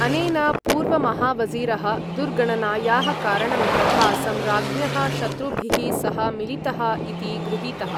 अनेन पूर्वमहावज़ीरः दुर्गणनायाः कारणं तथा सम्राज्ञः शत्रुभिः सह मिलितः इति गृहीतः।